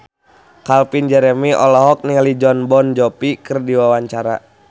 Calvin Jeremy olohok ningali Jon Bon Jovi keur diwawancara